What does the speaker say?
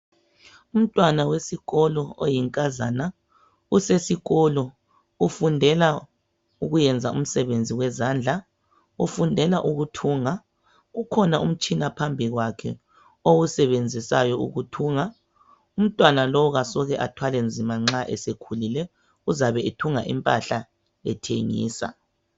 Umntwana wesikolo oyinkazana ,usesikolo ufundela ukuyenza umsebenzi wezandla .Ufundela ukuthunga ,kukhona umtshina phambikwakhe owusebenzisayo ukuthunga. Umntwana lo kasoke athwale nzima nxa esekhulile uzabe ethunga impahla ethengisa.